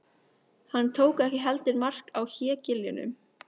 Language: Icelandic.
Hann tók ekki heldur mark á hégiljunum.